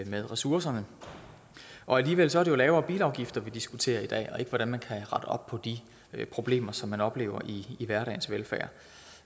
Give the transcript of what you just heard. med ressourcerne og alligevel er det lavere bilafgifter vi diskuterer i dag og ikke hvordan man kan rette op på de problemer som man oplever i hverdagens velfærd